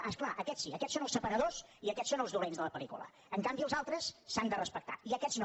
ah és clar aquests sí aquests són els separadors i aquests són els dolents de la pel·lícula en canvi els altres s’han de respectar i aquests no